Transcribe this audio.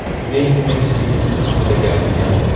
Men uning singlisi haqida gapirgandim.